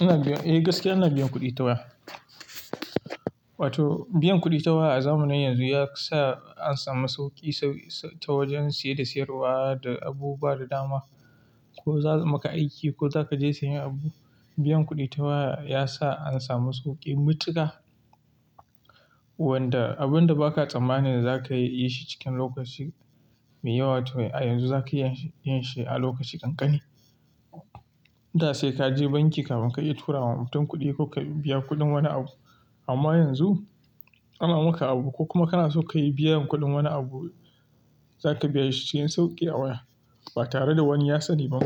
Eh gaskiya ina biyan kuɗi ta waya. Wato biyan kuɗi ta waya a zamanin yanzu ya sa an samu sauƙi ta wajen siye da sayarwa da abubuwa da dama. Ko za'a maka aiki ko za ka je sayen abu, biyan kuɗi ta waya ya sa an samu sauƙi matuƙa wanda abun da ba ka tsammani za ka yi shi cikin lokaci mai yawa, to a yanzu za ka iya yin shi a lokaci ƙanƙane. Da sai ka je banki kamin ka iya tura wa mutum kuɗi ko ka biya kuɗin wani abu. Amma yanzu ana maka abu ko kuma kana so ka yi biyan kuɗin wani abu, za ka biya shi cikin sauƙi a waya ba tare da wani yatsani ba